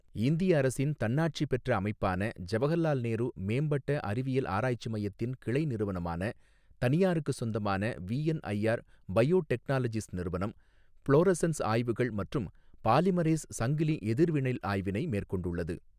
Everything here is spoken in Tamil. இந்திய அரசின் தன்னாட்சி பெற்ற அமைப்பான ஜவஹர்லால் நேரு மேம்பட்ட அறிவியல் ஆராய்ச்சி மையத்தின் கிளை நிறுவனமான தனியாருக்கு சொந்தமான விஎன்ஐஆர் பயோடெக்னாலஜிஸ் நிறுவனம், ப்ளோரோசன்ஸ் ஆய்வுகள் மற்றும் பாலிமரேஸ் சங்கிலி எதிர்வினைள் ஆய்வினை மேற்கொண்டுள்ளது.